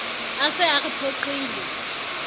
a se a re phoqile